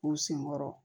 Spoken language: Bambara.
U sen kɔrɔ